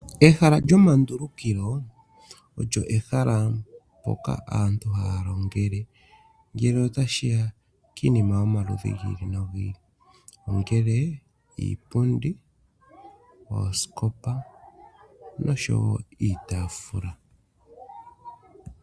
Ehala lyomandulukilo olyo ehala mpoka aantu haya longele. Ngele otashi ya kiinima yomaludhi gi ili no gi ili ongele iipundi, oosikopa nosho wo iitaafula.